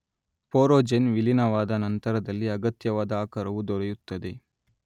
ಪೊರೊಜೆನ್ ವಿಲಿನವಾದ ನಂತರದಲ್ಲಿ ಅಗತ್ಯವಾದ ಆಕಾರವು ದೊರೆಯುತ್ತದೆ